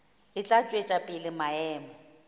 e tla tšwetša pele maemo